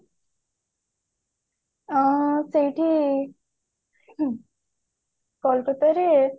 ଆଁ ସେଇଠି କୋଲକତା ରେ